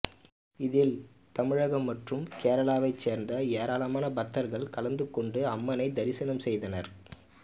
இதில் தமிழகம் மற்றும் கேரளாவைச் சேர்ந்த ஏராளமான பக்தர்கள் கலந்து கொண்டு அம்மனை தரிசனம் செய்தனர்